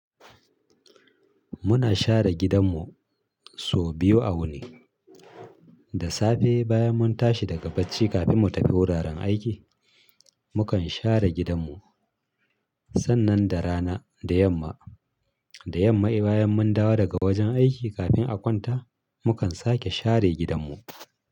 Muna share gidanmu sau biyu a wuni. Da safe bayan mun tashi daga bacci kafin mu tafi wuraren aiki, mukan share gidanmu. Sannan da rana da yamma, da yamma bayan mun dawo daga wajen aiki kafin a kwanta, mukan sake share gidanmu.